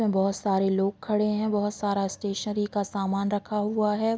बहोत सारे लोग खड़े है बहोत सारा स्टेशनरी का सामान रखा हुआ हे।